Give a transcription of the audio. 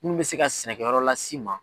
Munnu bɛ se ka sɛnɛkɛyɔrɔ lase i ma.